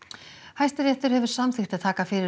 Hæstiréttur hefur samþykkt að taka fyrir